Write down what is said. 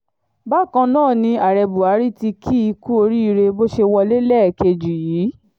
bákan náà ni ààrẹ buhari tí kì í kú oríire bó ṣe wọlé lẹ́ẹ̀kejì yìí